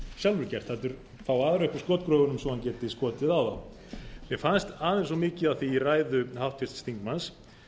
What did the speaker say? gert heldur fá aðra upp úr skotgröfunum svo að hann geti skotið á þá mér fannst aðeins of mikið af því í ræðu háttvirts þingmanns